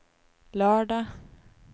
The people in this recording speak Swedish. lördag